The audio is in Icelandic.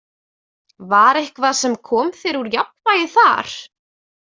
Var eitthvað sem kom þér úr jafnvægi þar?